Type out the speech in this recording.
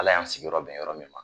Ala y'an sigiyɔrɔ bɛn yɔrɔ min ma